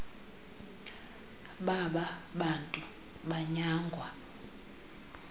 baba bantu banyangwa